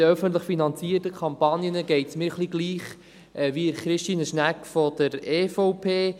Bei den öffentlich finanzierten Kampagnen geht es mir ähnlich wie Christine Schnegg von der EVP.